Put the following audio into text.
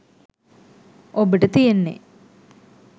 ඔබට තියෙන්නේ